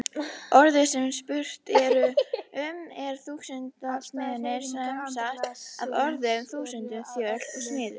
Orðið sem spurt er um er þúsundþjalasmiður, samsett af orðunum þúsund, þjöl og smiður.